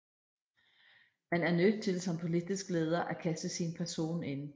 Man er nødt til som politisk leder at kaste sin person ind